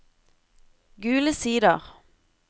Gule Sider